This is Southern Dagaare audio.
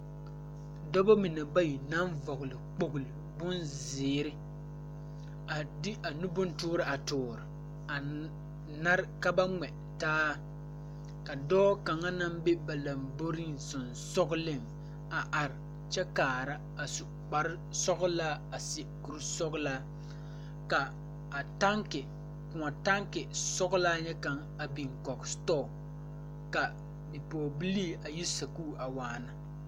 Dobɔ mine bayi naŋ vɔgle kpogle bonzeere a de a nu bontoore a toore a nare ka ba ngmɛ taa ka dɔɔ kaŋa naŋ be ba lambore sensugliŋ a are kyɛ kaara a su kparesɔglaa a seɛ kure sɔglaa ka a tanki kõɔ tanki sɔglaa nyɛ kaŋ a biŋ kɔg setɔɔ ka bipɔgebiliii a yi sakuure a waana.